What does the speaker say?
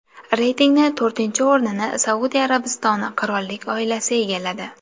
Reytingni to‘rtinchi o‘rnini Saudiya Arabistoni qirollik oilasi egalladi.